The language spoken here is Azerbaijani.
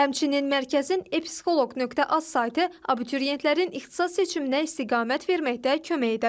Həmçinin mərkəzin e-psixoloq.az saytı abituriyentlərin ixtisas seçiminə istiqamət verməkdə kömək edə bilər.